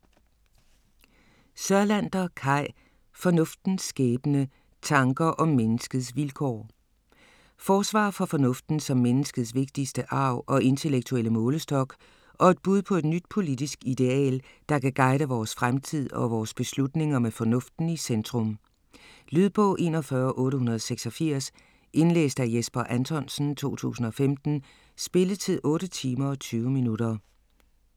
Sørlander, Kai: Fornuftens skæbne: tanker om menneskets vilkår Forsvar for fornuften som menneskets vigtigste arv og intellektuelle målestok, og et bud på et nyt politisk ideal, der kan guide vores fremtid og vores beslutninger med fornuften i centrum. Lydbog 41886 Indlæst af Jesper Anthonsen, 2015. Spilletid: 8 timer, 20 minutter.